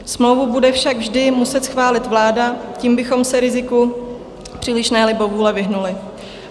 Smlouvu bude však vždy muset schválit vláda, tím bychom se riziku přílišné libovůle vyhnuli.